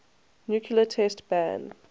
nuclear test ban